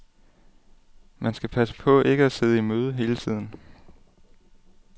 Man skal passe på ikke at sidde i møde hele tiden.